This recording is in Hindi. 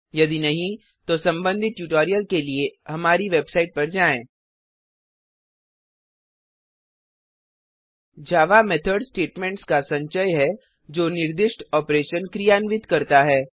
यदि नहीं तो संबंधित ट्यूटोरियल के लिए हमारी वेबसाइट पर जाएँhttpwwwspoken tutorialओआरजी जावा मेथड स्टेटमेंट्स का संचय है जो निर्दिष्टित ऑपरेशन क्रियान्वित करता है